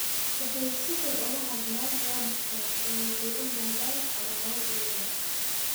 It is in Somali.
Waxay si xun uga hadlaan waalidkaas oo waxay u noqdaan cadaawad iyaga.